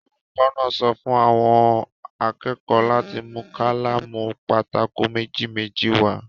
Olùkọ́ náà sọ fún àwọn akẹ́kọ̀ọ́ láti mú kálámù pátákò méjì-méjì wá.